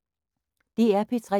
DR P3